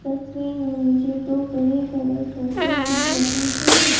तस्वीर में मुझे तो बड़े बड़े सोफे दिख रहा है और--